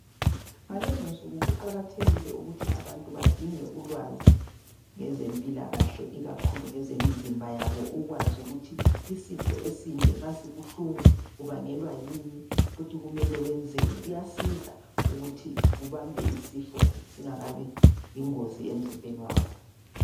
Ngalezinsuku kuqakathekile ukuthi abantu badinge ulwazi ngezempilakahle ikakhulu ngezemizimba yabo ukuze ukwazi ukuthi isitho esinje nxa sibuhlungu kubangelwa yini futhi kumele wenzeni. Kuyasiza ukuthi ubambe isifo singakabi yingozi emzimbeni wakho